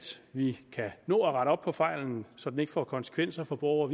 vi kan nå at rette op på fejlen så den ikke får konsekvenser for borgere